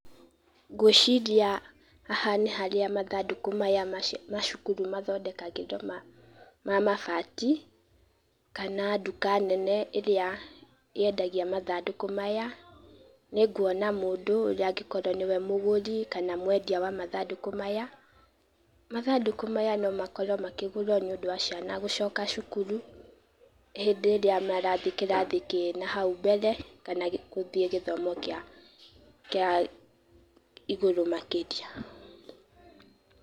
Ngwĩciria haha nĩ harĩa mathandũkũ maya ma cukuru mathondekagĩrwo ma mabati, kana duka nene ĩrĩa yendagia mathandũkũ maya, nĩnguona mũndũ ũrĩa angĩkorwo nĩwe mũgũri kana mwendia wa mathandũkũ maya, mathandũkũ maya no makorwo makĩgũrwo nĩũndũ wa ciana gũcoka cukuru, hĩndĩ ĩrĩa marathiĩ kĩrathi kĩna hau mbere kana gũthiĩ gĩthomo kĩa igũrũ makĩria.